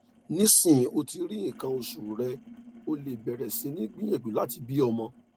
nisin o ti ri ikan osu re o le beere si ni gbiyanju lati bi omo